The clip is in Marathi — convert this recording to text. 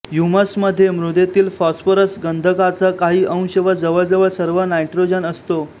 ह्यूमसमध्ये मृदेतील फॉस्फरस गंधकाचा काही अंश व जवळजवळ सर्व नायट्रोजन असतो